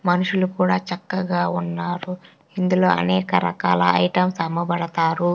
మనుషులు కూడా చక్కగా ఉన్నారు ఇందులో అనేక రకాల ఐటమ్స్ అమ్మబడతారు.